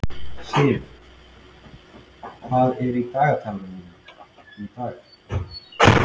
Siv, hvað er í dagatalinu mínu í dag?